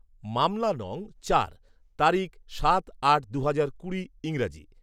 মামলা নং চার, তারিখ সাত আট দুহাজার কুড়ি ইং